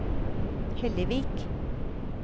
Hellevik